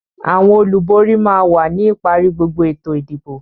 Àwọn olùborí máa wà ní ìparí gbogbo ètò ìdìbò.